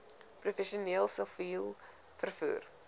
professioneel siviel vervoer